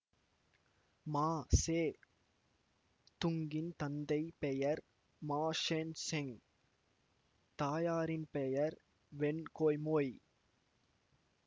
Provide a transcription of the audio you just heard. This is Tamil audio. மா சே துங்கின் தந்தை பெயர் மா ஷென் செங் தாயாரின் பெயர் வென் குய்மொய்